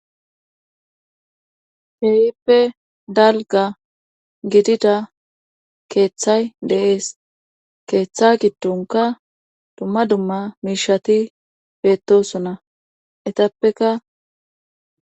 Kehippe dalgga gidida keeththay de'ees keeththa giddonkka dumma dumma miishshati beettosona etapekka